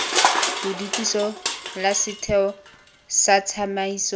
bodutiso la setheo sa tsamaiso